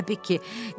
Hə, Bekki.